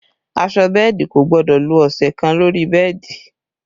Aṣọ bẹ́ẹ̀dì kò gbọ́dọ̀ lo ọ̀sẹ̀ kan lórí bẹ́ẹ̀dì